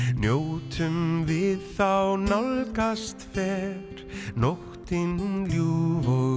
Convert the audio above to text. njótum við þá nálgast fer nóttin ljúfa og